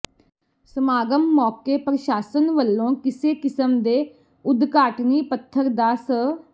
ਸਮਾਗਮ ਮੌਕੇ ਪ੍ਰਸ਼ਾਸਨ ਵੱਲੋਂ ਕਿਸੇ ਕਿਸਮ ਦੇ ਉਦਘਾਟਨੀ ਪੱਥਰ ਦਾ ਸ